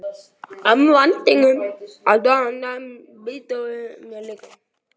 um væntingum og svo handleggsbrýturðu mig líka.